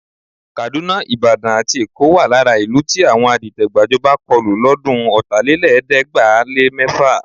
Kàdúná, Ìbàdàn àti Èkó wà lára ìlú tí àwọn adìtẹ̀-gbàjọba kọlù lọ́dún Ọ̀tálélẹ̀ẹ́dẹ́gbàá-lé-mẹ́fà.